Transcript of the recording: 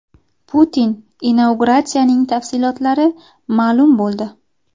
Putin inauguratsiyasining tafsilotlari ma’lum bo‘ldi.